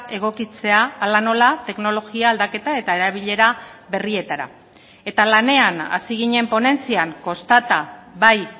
egokitzea hala nola teknologia aldaketa eta erabilera berrietara eta lanean hasi ginen ponentzian kostata bai